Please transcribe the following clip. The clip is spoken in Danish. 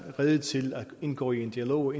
rede til at indgå i en dialog og